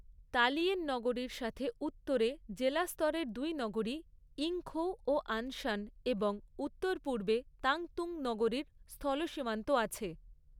তালিয়েন নগরীর সাথে উত্তরে জেলা স্তরের দুই নগরী ইংখৌ ও আনশান এবং উত্তর পূর্বে তানতুং নগরীর স্থলসীমান্ত আছে।